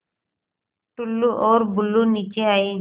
टुल्लु और बुल्लु नीचे आए